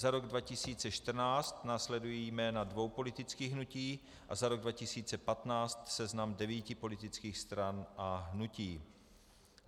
Za rok 2014 následují jména dvou politických hnutí a za rok 2015 seznam devíti politických stran a hnutí.